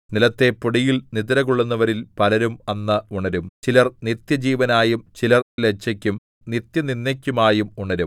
നിലത്തെ പൊടിയിൽ നിദ്രകൊള്ളുന്നവരിൽ പലരും അന്ന് ഉണരും ചിലർ നിത്യജീവനായും ചിലർ ലജ്ജയ്ക്കും നിത്യനിന്ദയ്ക്കുമായും ഉണരും